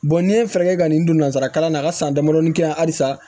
n'i ye fɛɛrɛ kɛ ka nin don nanzara kalan na a ka san damadɔni kɛ yan halisa